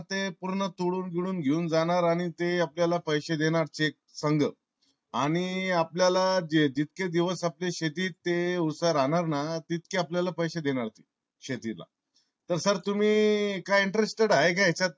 ते पूर्ण तोडून बिडून घेऊन जाणार आणि ते आपल्याला पैसे देणार ते संग आणि आपल्याला जितके दिवस आपल्या शेतात ते ऊस राहणार ना तितके आपल्याला पैसे देणार शेतीला. तर sir तुम्ही काय interested आहे का येच्यात?